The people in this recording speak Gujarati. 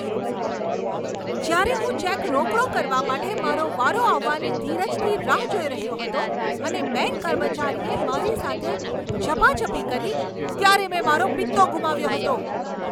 જ્યારે હું ચેક રોકડો કરવા માટે મારો વારો આવવાની ધીરજથી રાહ જોઈ રહ્યો હતો અને બેંક કર્મચારીએ મારી સાથે ઝપાઝપી કરી, ત્યારે મેં મારો પિત્તો ગુમાવ્યો હતો.